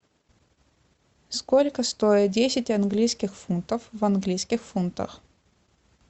сколько стоят десять английских фунтов в английских фунтах